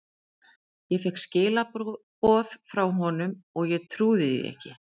Ég fékk skilaboð frá honum og ég trúði því ekki.